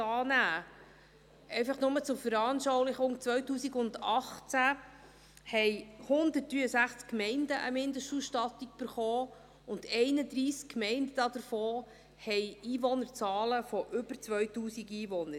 Dies einfach nur zur Veranschaulichung: 2018 erhielten 163 Gemeinden eine Mindestausstattung, und von diesen haben 31 Gemeinden Einwohnerzahlen von über 2000 Einwohnern.